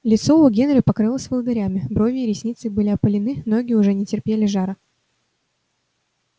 лицо у генри покрылось волдырями брови и ресницы были опалены ноги уже не терпели жара